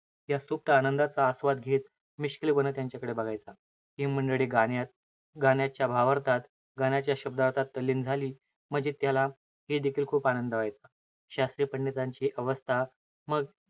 या सुप्त आनंदाचा आस्वाद घेत, मिश्किलपणे त्यांच्याकडे बघायचा. हे मंडळी गाण्यात, गाण्याच्या भावार्थात, गाण्याच्या शब्दातच तल्लीन झाली, म्हणजे त्याला हे देखील खूप आनंद व्हायचा. शास्त्रीय पंडितांची अवस्था,